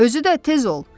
Özü də tez ol,